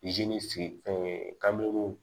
fɛn ye ka miiri